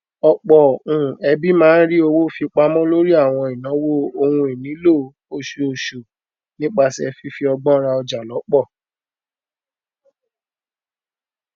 ọpọ um ẹbí máa n rí owó fi pamọ lórí àwọn ìnáwó ohun ìnílò oṣooṣù nípasẹ fífi ọgbọn rà ọjà lọpọ